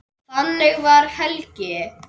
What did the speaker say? Þannig var Helgi.